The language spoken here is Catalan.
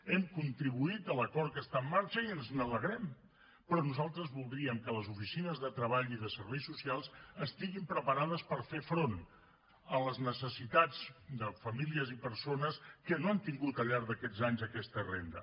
hem contribuït a l’acord que està en marxa i ens n’alegrem però nosaltres voldríem que les oficines de treball i de serveis socials estiguessin preparades per fer front a les necessitats de famílies i persones que no han tingut al llarg d’aquests anys aquesta renda